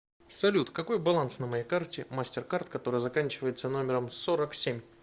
салют какой баланс на моей карте мастер кард которая заканчивается номером сорок семь